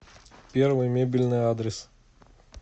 первый мебельный адрес